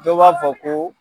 Dɔw b'a fɔ ko